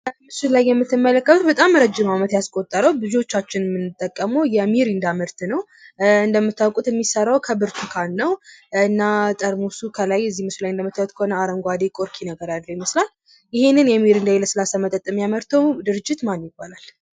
በምስሉ ላይ የምትመለከቱት በጣም ረጅም ያስቆጠረ ብዙዎቻችን የምናውቀው የሚሪንዳ ምርት ነው። እንደምታውቁት የሚሰራው ከብርቱካን ነው እና እዚህ ጠርሙሱ ላይ አረንጓዴ ምልክት አለ ይህንን ይህንን የለስላሳ መጠጥ የሚያምርተው ድርጅት ማን ይባላል?